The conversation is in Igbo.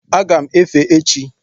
Aga m efe echi